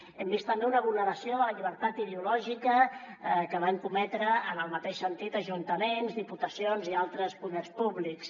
hem vist també una vulneració de la llibertat ideològica que van cometre en el mateix sentit ajuntaments diputacions i altres poders públics